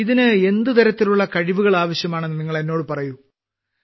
ഇതിന് എന്തു തരത്തിലുള്ള കഴിവുകൾ ആവശ്യമാണെന്ന് നിങ്ങൾ എന്നോട് പറയൂ